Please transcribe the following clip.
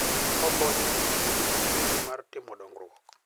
Okonyo e miyo ji obed gi chuny mar timo dongruok.